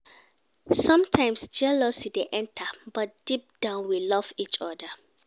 Sometimes, jealousy dey enter, but deep down, we love each oda.